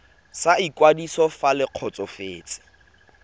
sa ikwadiso fa le kgotsofetse